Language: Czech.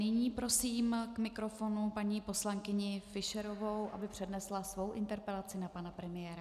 Nyní prosím k mikrofonu paní poslankyni Fischerovou, aby přednesla svou interpelaci na pana premiéra.